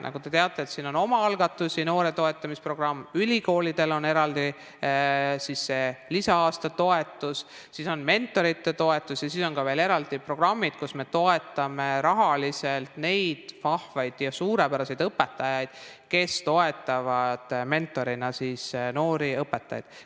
Nagu te teate, siin on omaalgatusi, on noorte toetamise programm, ülikoolidel on eraldi lisa-aasta toetus, on mentorite toetus ja on ka veel eraldi programmid, millega me toetame rahaliselt neid vahvaid ja suurepäraseid õpetajaid, kes toetavad mentorina noori õpetajaid.